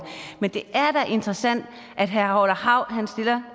men det er da interessant at herre orla hav stiller